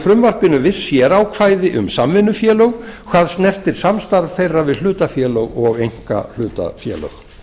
frumvarpinu viss sérákvæði um samvinnufélög hvað snertir samstarf þeirra við hlutafélög og einkahlutafélög